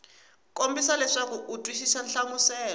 kombisa leswaku u twisisa nhlamuselo